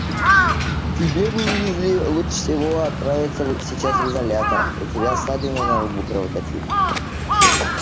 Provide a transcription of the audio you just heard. тебе бы уизли лучше всего отправиться сейчас в изолятор у тебя ссадина на лбу кровоточит